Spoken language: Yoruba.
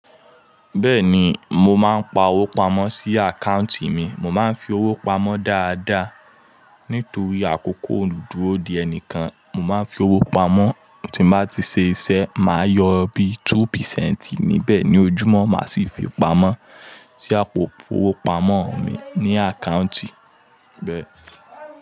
Bẹ́ẹ̀ni, mo má ń pa owó pamọ́ sí àkáùntì mi, mo má ń fi owó pamọ́ dáadáa. Nítorí àkókò o dúró de ẹnìkan, mo má ń fi owó pamọ́, tí n bá ti ṣe iṣẹ́, máa yọ bíi two percent níbẹ̀ ní ojúmọ́, màá sì fi pamọ́ sí àpò ifowó pamọ́ mi ní àkáùntì bẹ.